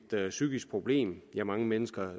psykisk problem mange mennesker